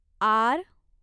R